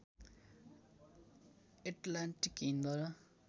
Atlantic Hind र